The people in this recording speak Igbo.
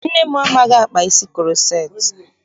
Nne m amaghị akpa isi kuroceti.